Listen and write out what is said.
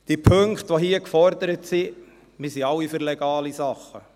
Die Punkte, die hier gefordert sind: Wir sind alle für legale Dinge.